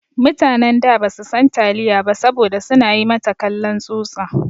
Mutanen da ba su san taliya saboda su na yi mata kallon tsutsa.